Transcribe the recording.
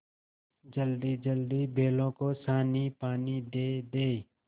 जल्दीजल्दी बैलों को सानीपानी दे दें